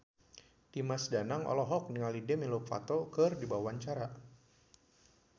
Dimas Danang olohok ningali Demi Lovato keur diwawancara